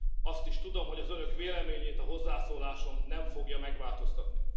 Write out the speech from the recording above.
Azt is tudom, hogy az Önök véleményét a hozzászólásom nem fogja megváltoztatni.